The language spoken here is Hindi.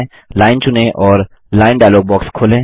लाइन चुनें और लाइन डायलॉग बॉक्स खोलें